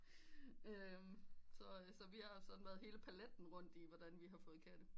Så vi har sådan været hele paletten rund med hvordan vi har fået katte